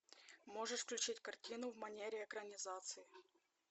можешь включить картину в манере экранизации